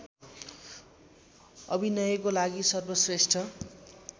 अभिनयको लागि सर्वश्रेष्ठ